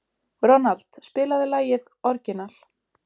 Ronald, spilaðu lagið „Orginal“.